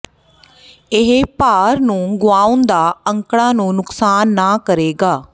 ਇਹ ਭਾਰ ਨੂੰ ਗੁਆਉਣ ਦਾ ਅੰਕੜਾ ਨੂੰ ਨੁਕਸਾਨ ਨਾ ਕਰੇਗਾ